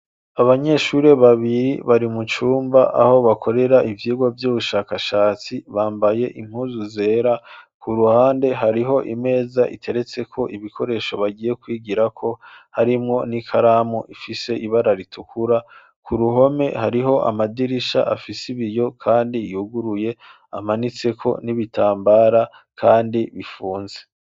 Abanyeshuri babiri, bari mu cumba, aho bakorera ivyigwa, vy'ubushakashatsi; bambaye impuzu zera; ku ruhande, hariho imeza, iteretseko ibikoresho, bagiye kwigirako; harimwo n'ikaramu, ifise ibara ritukura; ku ruhome, hariho amadirisha, afise ibiyo, kandi yuguruye; amanitseko n'ibitambara, kandi bifunze.